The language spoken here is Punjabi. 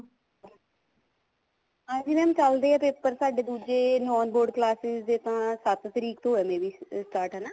ਹਾਂਜੀ mam ਚੱਲਦੇ ਆ paper ਸਾਡੇ ਦੂਜੇ non board classes ਦੇ ਤਾਂ ਸੱਤ ਤਰੀਕ ਤੋਂ ਆ may be start ਹਨਾ